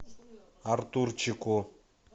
артурчику